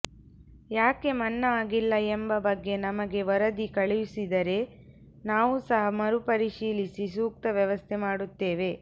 ಯಾಕೆ ಮನ್ನಾ ಆಗಿಲ್ಲ ಎಂಬ ಬಗ್ಗೆ ನಮಗೆ ವರದಿ ಕಳುಹಿಸಿದರೆ ನಾವೂ ಸಹ ಮರುಪರಿಶೀಲಿಸಿ ಸೂಕ್ತ ವ್ಯವಸ್ಥೆ ಮಾಡುತ್ತೇವೆ